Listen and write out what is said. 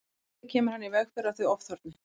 Með því kemur hann í veg fyrir að þau ofþorni.